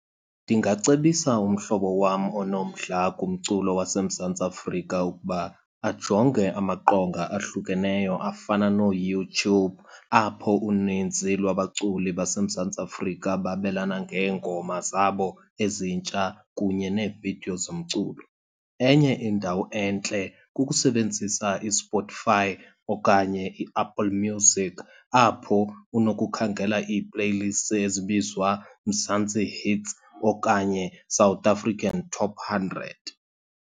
Ndingacebisa umhlobo wam onomdla kumculo waseMzantsi Afrika ukuba ajonge amaqonga ahlukeneyo afana nooYouTube, apho unintsi lwabaculi baseMzantsi Afrika babelana ngeengoma zabo ezintsha kunye neevidiyo zomculo. Enye indawo entle kukusebenzisa iSpotify okanye iApple Music apho unokukhangela ii-playlists ezibizwa Mzantsi Hits okanye South African Top Hundred.